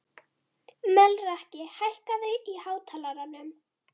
Melrakki, hækkaðu í hátalaranum.